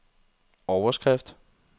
overskrift